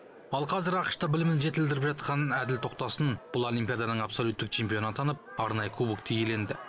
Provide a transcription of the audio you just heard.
ал қазір ақш та білімін жетілдіріп жатқан әділ тоқтасын бұл олимпиаданың абсолюттік чемпионы атанып арнайы кубокті иеленді